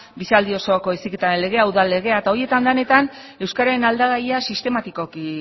bizialdi osoko heziketaren legea udal legea eta horietan denetan euskararen aldagaia sistematikoki